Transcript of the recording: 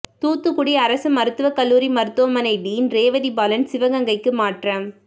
தூத்துக்குடி அரசு மருத்துவக் கல்லூரி மருத்துவமனை டீன் ரேவதி பாலன் சிவகங்கைக்கு மாற்றம்